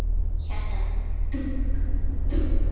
Hjartað dunk dunk.